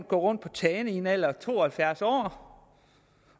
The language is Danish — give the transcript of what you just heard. gå rundt på tagene i en alder af to og halvfjerds år